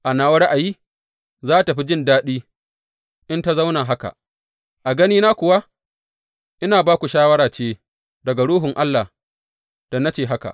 A nawa ra’ayi, za tă fi jin daɗi in ta zauna haka, a ganina kuwa ina ba ku shawara ce daga Ruhun Allah da na ce haka.